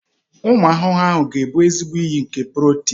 Ụmụ ahụhụ ga-abụ ezigbo isi iyi nke protini.